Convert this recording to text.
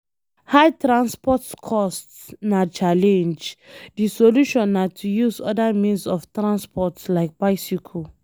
High transport cost na challenge, di solution na to use oda means of transport like bicycle